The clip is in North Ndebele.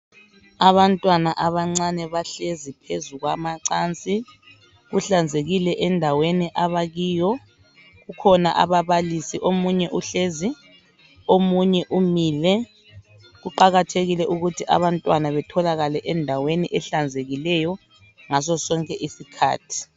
abantwana abancane bahlezi phezu kwamacansi kuhlanzekile endaweni abakiyo kukhona ababalisi omunye uhlezi omunye umile kuqakathekile ukuthi abantwana betholakale endaweni ehlanzekileyo ngaso sonke isikhathi